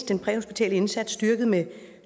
den præhospitale indsats styrket med